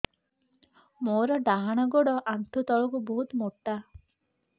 ମୋର ଡାହାଣ ଗୋଡ ଆଣ୍ଠୁ ତଳୁକୁ ବହୁତ ମୋଟା